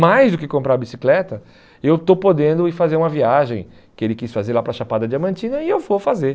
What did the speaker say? Mais do que comprar a bicicleta, eu estou podendo ir fazer uma viagem que ele quis fazer lá para Chapada Diamantina e eu vou fazer.